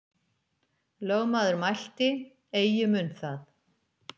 Lögmaður mælti: Eigi mun það.